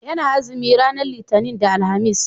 ya na azumi ranar litani da alhamis